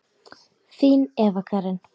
Þín Eva Karen.